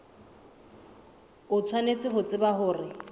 o tshwanetse ho tseba hore